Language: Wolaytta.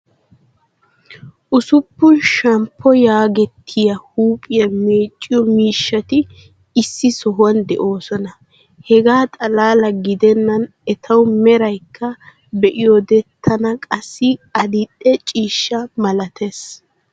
ussuppun shamppo yaagettiya huuphiya meecciyo miishshati issi sohuwan de'oosona. Hegaa xalaala gidennan etawu meraykka be'iyode tana qassi adil"e ciishshaa malattees.